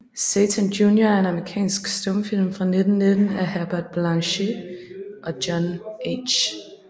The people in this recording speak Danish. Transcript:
Satan Junior er en amerikansk stumfilm fra 1919 af Herbert Blaché og John H